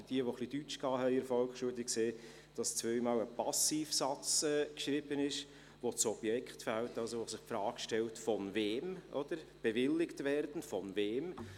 Wer in der Volksschule ein wenig Deutsch gehabt hat, sieht, dass zweimal ein Passivsatz geschrieben steht, wo das Objekt fehlt, wo sich also die Frage stellt, «von wem» es bewilligt werden soll.